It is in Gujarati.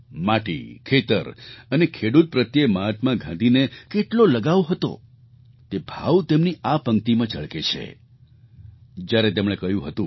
માટી ખેતર અને ખેડૂત પ્રત્યે મહાત્મા ગાંધીને કેટલો લગાવ હતો તે ભાવ તેમની આ પંક્તિમાં ઝળકે છે જ્યારે તેમણે કહ્યું હતું